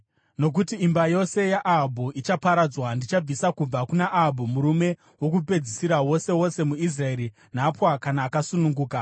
Nokuti imba yose yaAhabhu ichaparadzwa. Ndichabvisa kubva kuna Ahabhu murume wokupedzisira wose wose muIsraeri, nhapwa kana akasununguka.